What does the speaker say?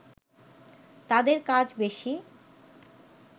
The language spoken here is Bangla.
তাদের কাজ বেশি